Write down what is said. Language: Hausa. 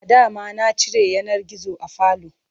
Adama na cire yanar gizo a falo.